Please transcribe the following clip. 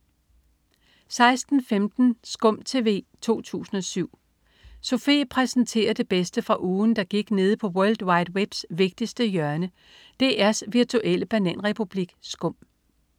16.15 Skum TV 2007. Sofie præsenterer det bedste fra ugen, der gik nede på world wide webs vigtigste hjørne, DR's virtuelle bananrepublik Skum